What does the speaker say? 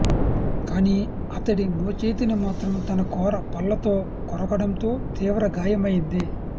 కానీ అతడి మోచేతిని మాత్రం తన కోర పళ్లతో కొరకడంతో తీవ్ర గాయమైంది